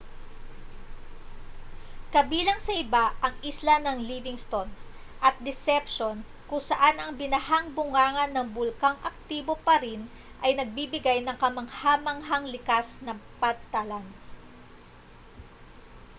kabilang sa iba ang isla ng livingston at deception kung saan ang binahang bunganga ng bulkang aktibo pa rin ay nagbibigay ng kamangha-manghang likas na pantalan